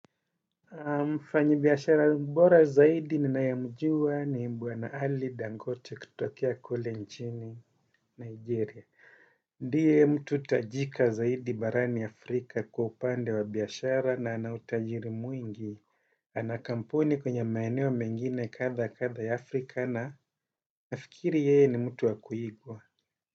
Mfanyibiashara bora zaidi ninayemjua ni bwana ali dangote kutokea kule nchini nigeria. Ndiye mtu tajika zaidi barani Afrika kwa upande wa biashara na ana utajiri mwingi. Ana kampuni kwenye maeneo mengine kadha kadha ya Afrika na nafikiri yeye ni mtu wa kuigwa.